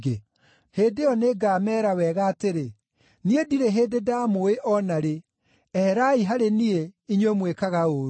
Hĩndĩ ĩyo nĩngameera wega atĩrĩ, ‘Niĩ ndirĩ hĩndĩ ndaamũũĩ o na rĩ. Eherai harĩ niĩ, inyuĩ mwĩkaga ũũru!’